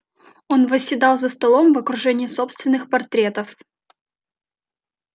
он восседал за столом в окружении собственных портретов